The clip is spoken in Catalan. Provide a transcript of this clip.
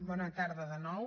bona tarda de nou